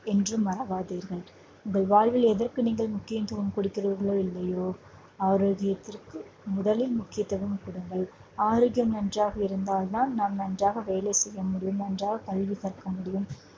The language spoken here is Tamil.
என்றும் மறவாதீர்கள். உங்கள் வாழ்வில் எதற்கு நீங்கள் முக்கியத்துவம் கொடுக்கிறீர்களோ இல்லையோ ஆரோக்கியத்திற்கு முதலில் முக்கியத்துவம் கொடுங்கள். ஆரோக்கியம் நன்றாக இருந்தால்தான் நாம் நன்றாக வேலை செய்ய முடியும் கல்வி கற்க முடியும்